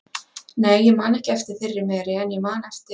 Nei, ég man ekki eftir þeirri meri, en ég man eftir